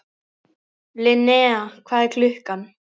Linnea, hvað er klukkan?